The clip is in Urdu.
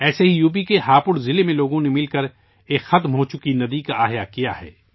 اسی طرح یو پی کے ہاپوڑ ضلع میں لوگوں نے مل کر ایک گمشدہ ندی کو زندہ کر دیا ہے